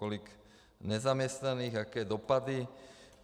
Kolik nezaměstnaných, jaké dopady.